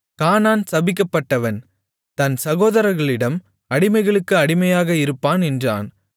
கானான் சபிக்கப்பட்டவன் தன் சகோதாரர்களிடம் அடிமைகளுக்கு அடிமையாக இருப்பான் என்றான்